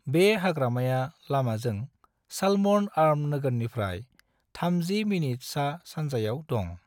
बे हाग्रामाया लामाजों साल्मोन आर्म नोगोरनि प्राय 30 मिनिट सा-सानजायाव दं।